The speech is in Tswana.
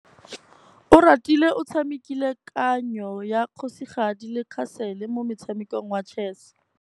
Oratile o tshamekile kananyô ya kgosigadi le khasêlê mo motshamekong wa chess.